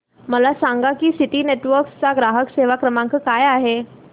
मला सांगा की सिटी नेटवर्क्स चा ग्राहक सेवा क्रमांक काय आहे